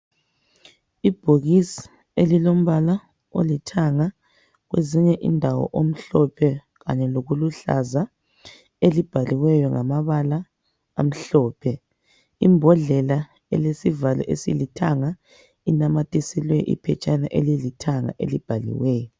Ibhokisi elilombala olithanga kwezinye indawo omhlophe kanye lokuluhlaza, elibhaliweyo ngamabala amhlophe. Imbodlela elesivalo esilithanga inamathiselwe iphetshana elilithanga elibhaliweyo.